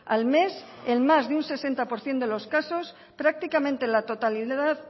al mes en más de un sesenta por ciento de los casos prácticamente la totalidad